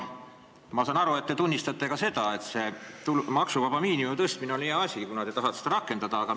Ma saan aru, et te tunnistate, et maksuvaba tulu osa tõstmine on hea asi, kuna te tahate seda rakendada kõigile.